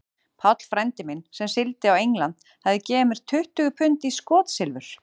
Páll frændi minn, sem sigldi á England, hafði gefið mér tuttugu pund í skotsilfur.